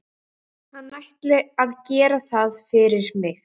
Hann ætli að gera það fyrir mig.